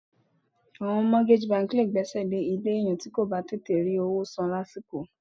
Àwọn mortgage bank lé gbèsè lè ilé èèyàn ti ko bà tètè rí owó san lásìkò.